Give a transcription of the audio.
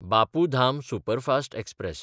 Bapu Dham superfast express